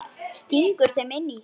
Stingur þeim inn á sig.